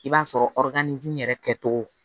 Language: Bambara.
I b'a sɔrɔ yɛrɛ kɛcogo